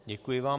Děkuji vám.